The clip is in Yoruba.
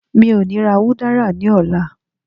mo o ni ra udara ni ọlá